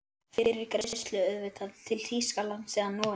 Fyrir greiðslu auðvitað, til Þýskalands eða Noregs?